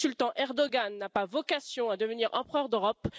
Le sultan Erdoğan n'a pas vocation à devenir empereur d'Europe.